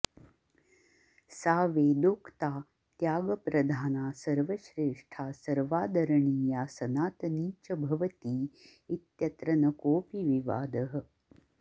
सा वेदोक्ता त्यागप्रधाना सर्वश्रेष्ठा सर्वादरणीया सनातनी च भवती इत्यत्र न कोऽपि विवादः